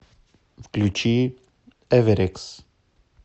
включи эверекс